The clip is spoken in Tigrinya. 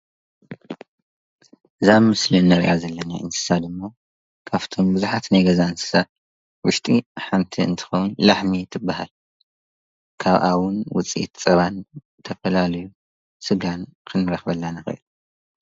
እዛ ኣብ ምስሊ ንርእያ ዘለና እንስሳ ደሞ ካብቶም ብዙሓት ናይ ገዛ እንስሳ ዉሽጢ ሓንቲ እንትከዉን ላሕሚ ትበሃል፡፡ ካብኣ እዉን ዉፅኢት ፀባን ተፈላለዩ ሰጋን ክንረክበላ ንክእል፡፡